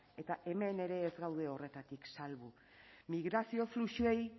eta hemen ere ez gaude horretatik salbu migrazio fluxuei